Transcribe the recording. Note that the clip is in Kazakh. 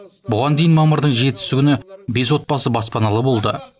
бұған дейін мамырдың жетісі күні бес отбасы баспаналы болды